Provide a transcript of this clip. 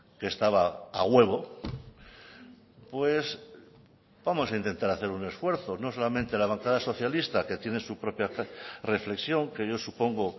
que estaba a huevo pues vamos a intentar a hacer un esfuerzo no solamente la bancada socialista que tiene su propia reflexión que yo supongo